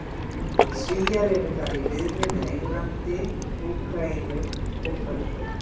Svíar eru þar í riðli með Englandi, Úkraínu og Frökkum.